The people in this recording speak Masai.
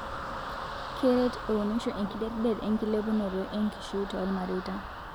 keret eunisho enkidetdet enkilepunoto eenkishui tormareita